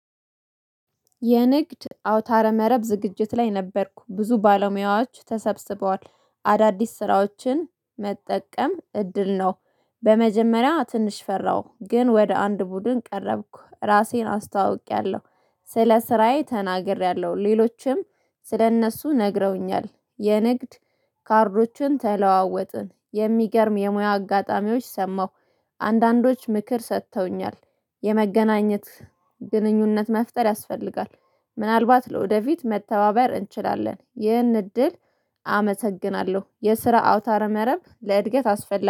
የንግድ አውታረ መረብ ዝግጅት ላይ ነበርኩ ብዙ ባለሙያዎች ተሰብስበዋል አዳዲስ ስራዎችን መጠቀም እድል ነው። በመጀመሪያ ትንሽ ፈራሁ ግን ወደ አንድ ቡድን ቀረብኩ ራሴን አስታዋውቂያለሁ። ስለ ስራዬ ተናግሬያለሁ ሌሎችም ስለእነሱ ነግረውኛል። የንግድ ካርዶችን ተለዋወጥን የሚገርም የሙያ አጋጣሚዎች ሰማሁ። አንዳንዶች ምክር ሰጥተውኛል። የመገናኘት ግንኙነት መፍጠር ያስፈልጋል። ምናልባት ለወደፊት መተባበር እንችላለን ይህን እድል። አመሰግናለሁ የስራ አውታር መረብ ለእድገት አስፈላጊ